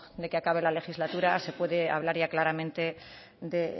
de que acabe la legislatura se puede hablar ya claramente de